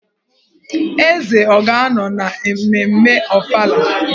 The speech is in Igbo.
Eze ọ ga-anọ na mmemme Ọfala?